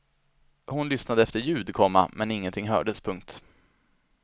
Hon lyssnade efter ljud, komma men ingenting hördes. punkt